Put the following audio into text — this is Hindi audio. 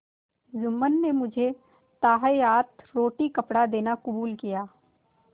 जुम्मन ने मुझे ताहयात रोटीकपड़ा देना कबूल किया